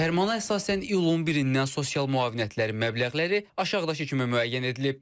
Fərmana əsasən iyulun 1-dən sosial müavinətlərin məbləğləri aşağıdakı kimi müəyyən edilib.